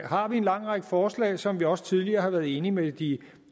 har vi en lang række forslag som vi også tidligere har været enige med de